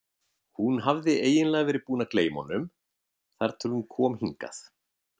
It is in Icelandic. Hún hafði eiginlega verið búin að gleyma honum þar til hún kom hingað.